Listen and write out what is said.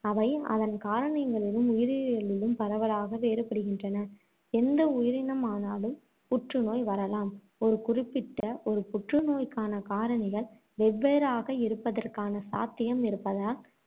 அவை அதன் காரணங்களிலும், உயிரியலிலும் பரவலாக வேறுபடுகின்றன. எந்த உயிரினமானாலும், புற்றுநோய் வரலாம். ஒரு குறிப்பிட்ட ஒரு புற்றுநோய்க்கான காரணிகள் வெவ்வேறாக இருப்பதற்கான சாத்தியம் இருப்பதால்,